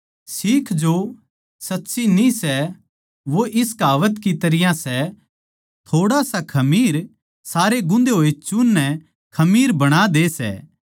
सीख जो सच्ची न्ही सै वो इस कहावत की तरियां सै थोड़ा सा खमीर सारै गूँधे होए चून नै खमीर बणा दे सै